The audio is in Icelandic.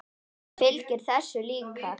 Það fylgir þessu líka.